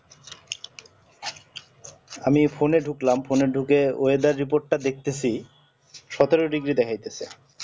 আমি phone ঢুকলাম phone এ ঢুকে weather report টা দেখতেছি সতেরো degree দেখাইতেছে